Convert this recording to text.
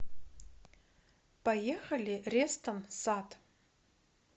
поехали рестон сад